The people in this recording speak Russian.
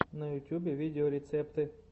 на ютюбе видеорецепты